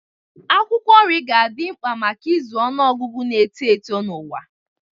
Akwụkwọ nri ga-adị mkpa maka ịzụ ọnụ ọgụgụ na-eto eto n'ụwa.